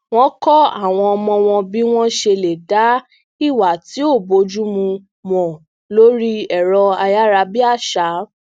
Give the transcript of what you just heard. wón kó àwọn ọmọ wọn bí wọn ṣe lè dá ìwà tí ò bójúmu mọ lórí ẹrọ ayarabiaṣa